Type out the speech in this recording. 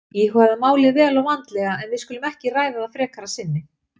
Íhugaðu málið vel og vandlega en við skulum ekki ræða það frekar að sinni